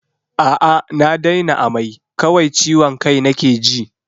A'a na daina amai, kawai ciwon kai nake ji.